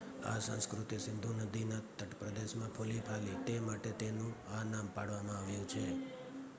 આ સંસ્કૃતિ સિંધુ નદીના તટપ્રદેશમાં ફુલીફાલી તે માટે તેનું આ નામ પાડવામાં આવ્યું છે